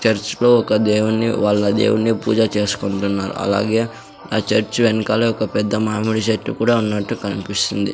Church లో ఒక దేవుని వాళ్ల దేవుని పూజ చేసుకుంటున్నారు అలాగే ఆ చర్చ్ వెనకాలే ఒక పెద్ద మామిడి చెట్టు కూడా ఉన్నట్టు కనిపిస్తుంది.